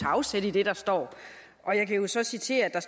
afsæt i det der står og jeg kan så citere at der